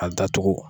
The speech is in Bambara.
A datugu